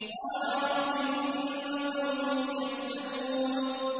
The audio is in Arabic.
قَالَ رَبِّ إِنَّ قَوْمِي كَذَّبُونِ